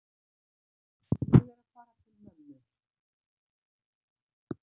Ég er að fara til mömmu.